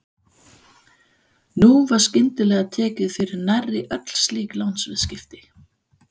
Nú var skyndilega tekið fyrir nærri öll slík lánsviðskipti.